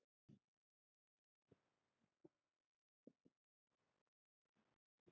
Vildi makker kannski LAUF?